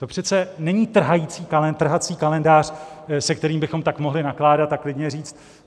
To přece není trhací kalendář, se kterým bychom tak mohli nakládat a klidně říct.